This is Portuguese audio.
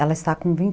Ela está com vinte